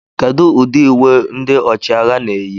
Kedu ụdị uwe ndị ọchịagha na-eyi